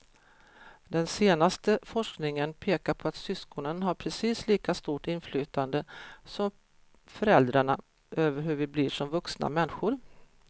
Den senaste forskningen pekar på att syskonen har precis lika stort inflytande som föräldrarna över hur vi blir som vuxna människor.